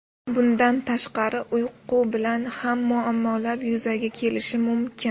Bundan tashqari, uyqu bilan ham muammolar yuzaga kelishi mumkin.